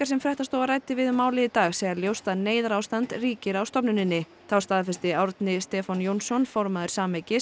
sem fréttastofa ræddi við um málið í dag segja ljóst að neyðarástand ríki á stofnuninni þá staðfesti Árni Stefán Jónsson formaður